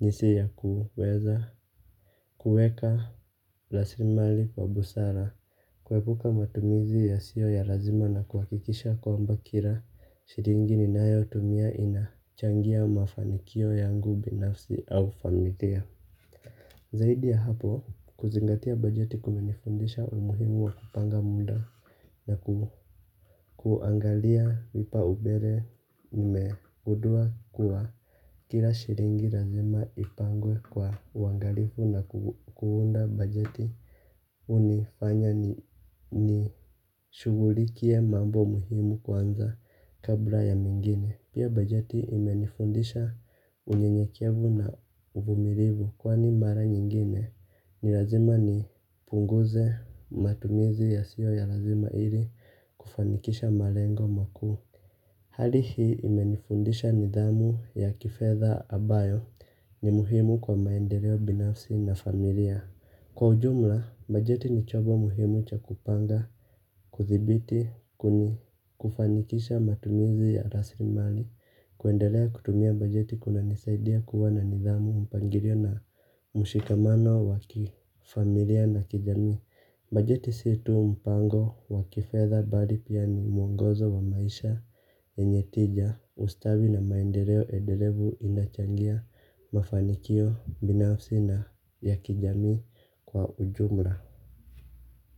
jinsi ya kuweza kueka rasilimali kwa busara. Kuepuka matumizi yasio ya lazima na kuhakikisha kwamba kila shilingi ninayotumia inachangia mafanikio yangu binafsi au familia. Zaidi ya hapo kuzingatia bajeti kumenifundisha umuhimu wa kupanga muda na kuangalia vipaumbele nimegundua kuwa kila shilingi lazima ipangwe kwa uangalifu na kuunda bajeti hunifanya nishughulikie mambo muhimu kwanza kabla ya mengine. Pia bajeti imenifundisha unyenyekevu na uvumilivu kwani mara nyingine ni lazima nipunguze matumizi yasiyo ya lazima ili kufanikisha malengo makuu. Hali hii imenifundisha nidhamu ya kifedha ambayo ni muhimu kwa maendeleo binafsi na familia. Kwa ujumla, bajeti ni chombo muhimu cha kupanga, kuthibiti, kuni kufanikisha matumizi ya rasilimali, kuendelea kutumia bajeti kunanisaidia kuwa na nidhamu mpangilio na mshikamano wa kifamilia na kijamii bajeti s itu mpango wa kifedha bali pia ni mwongozo wa maisha yenye tija ustawi na maendeleo endelevu inachangia mafanikio binafsi na ya kijamii kwa ujumla.